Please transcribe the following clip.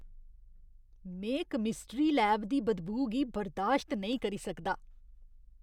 में chemistry lab दी बदबू गी बर्दाश्त नेईं करी सकदा।